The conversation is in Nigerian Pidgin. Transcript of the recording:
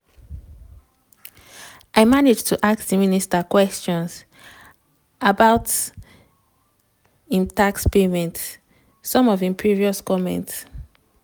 im manage to ask di minister kwesions about im tax payment some of im previous comments